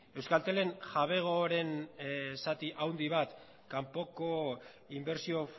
euskaltelen jabegoaren zati handi bat kanpoko inbertsio